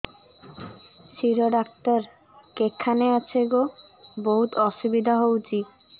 ଶିର doctor କେଖାନେ ଅଛେ ଗୋ ବହୁତ୍ ଅସୁବିଧା ହଉଚି